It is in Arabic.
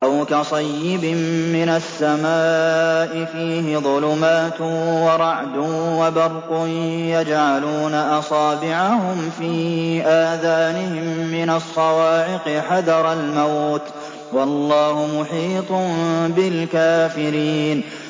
أَوْ كَصَيِّبٍ مِّنَ السَّمَاءِ فِيهِ ظُلُمَاتٌ وَرَعْدٌ وَبَرْقٌ يَجْعَلُونَ أَصَابِعَهُمْ فِي آذَانِهِم مِّنَ الصَّوَاعِقِ حَذَرَ الْمَوْتِ ۚ وَاللَّهُ مُحِيطٌ بِالْكَافِرِينَ